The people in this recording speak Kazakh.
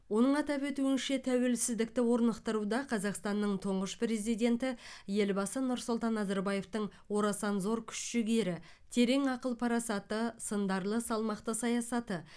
оның атап өтуінше тәуеліздікті орнықтыруда қазақстанның тұңғыш президенті елбасы нұрсұлтан назарбаевтың орасан зор күш жігері терең ақыл парасаты сындарлы салмақты саясаты